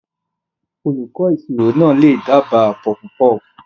Olùkọ́ ìṣirò náà lè dábàá puffpuff.